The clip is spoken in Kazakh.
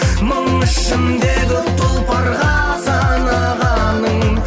мың ішіндегі тұлпарға санағаның